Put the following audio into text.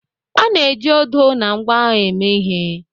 A na-eji odo na ngwa agha eme ihe